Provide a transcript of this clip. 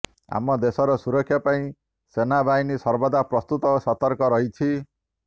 ଆମ ଦେଶର ସୁରକ୍ଷା ପାଇଁ ସେନା ବାହିନୀ ସର୍ବଦା ପ୍ରସ୍ତୁତ ଓ ସତର୍କ ରହିଛି